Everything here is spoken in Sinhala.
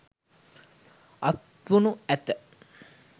අත්වනු ඇත.